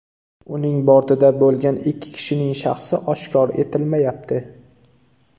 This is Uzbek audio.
Uning bortida bo‘lgan ikki kishining shaxsi oshkor etilmayapti.